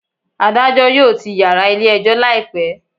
Adajọ yoo tii yara ile ejo laipẹ